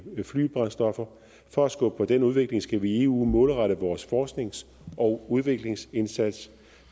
flybrændstoffer for at skubbe på den udvikling skal vi i eu målrette vores forsknings og udviklingsindsats